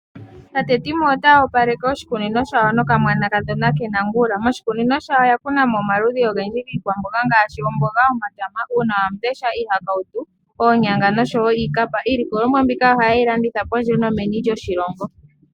Tate Timo otaya opaleke oshikunino shawo nokamwanakadhona Nangula. Moshikunino shawo oya kuna mo omaludhi ogendji giikwamboga ngaashi oomboga , omatama, uunawamundesha, iihakauto, oonyanga nosho wo iikapa. Iilikolomwa mbika ohaye yi landitha kondje no meni lyoshilongo.